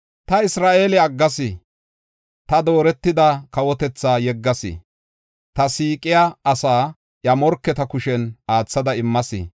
“Ta Isra7eele aggas; ta dooretida kawotetha yeggas; ta siiqiya asaa iya morketa kushen aathada immas.